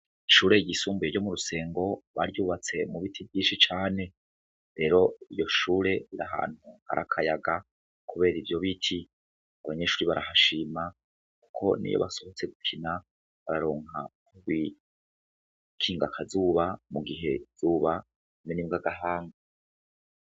Ishure yisumbuye ryo mu rusengo baryubatse mu biti vyinshi cane rero iyo shure ra hantu arakayaga, kubera ivyo biti nobanyeshuri barahashima, kuko ni yo basohotse gukina bararonka kuwikingakazuba mu gihe zuba rimen’imbw’agahanga.